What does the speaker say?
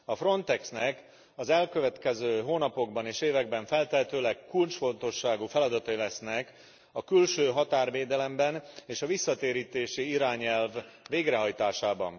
A Frontexnek az elkövetkező hónapokban és években feltehetőleg kulcsfontosságú feladatai lesznek a külső határvédelemben, és a visszatérítési irányelv végrehajtásában.